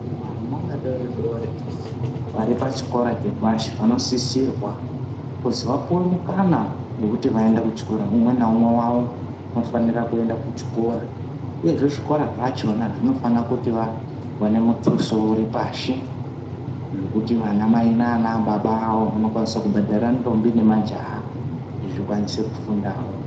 Vana vadori-dori vari pachikora chepashi vanosisirwa kuzi vapuve mukana vekuti vaende kuchikora. Ume naumwe vavo unofanira kuenda kuchikora uyezve zvikora zvachona zvinofana kuti vavane mutuso uri pashi. Zvokuti vana mai nanababa vavo vanokwanisa kuti kubhadhara ndombi nemajaha kuti zvikwanise kufundavo.